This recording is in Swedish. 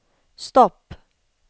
stopp